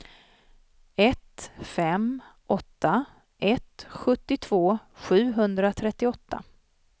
ett fem åtta ett sjuttiotvå sjuhundratrettioåtta